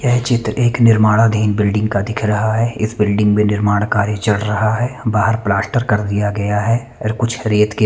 यह चित्र एक निर्माणाधीन बिल्डिंग का दिख रहा है इस बिल्डिंग में निर्माण कार्य चल रहा है बाहर प्लास्टर कर दिया गया है और कुछ रेत के--